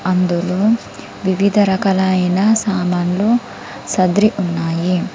అందులో వివిధ రకాలైన సామాన్లు సదిరి ఉన్నాయి.